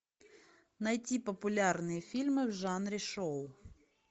найти популярные фильмы в жанре шоу